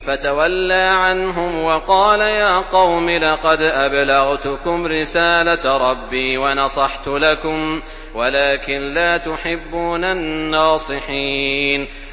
فَتَوَلَّىٰ عَنْهُمْ وَقَالَ يَا قَوْمِ لَقَدْ أَبْلَغْتُكُمْ رِسَالَةَ رَبِّي وَنَصَحْتُ لَكُمْ وَلَٰكِن لَّا تُحِبُّونَ النَّاصِحِينَ